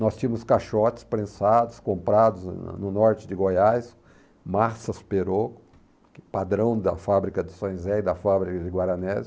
Nós tínhamos caixotes prensados, comprados na no norte de Goiás, massas perocco, padrão da fábrica de São José e da fábrica de Guaranésia.